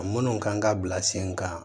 Minnu kan ka bila sen kan